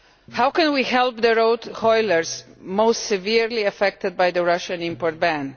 How can we help the road hauliers most severely affected by the Russian import ban?